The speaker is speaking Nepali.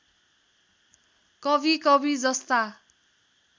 कभी कभी जस्ता